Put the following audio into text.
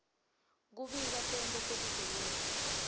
kubika tento tebugebengu